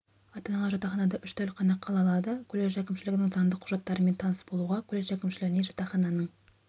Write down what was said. ата-аналар жатақханада үш тәулік ғана қала алады колледж әкімшілігінің заңдық құжаттарымен таныс болуға колледж әкімшілігіне жатақхананың